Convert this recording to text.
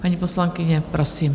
Paní poslankyně, prosím.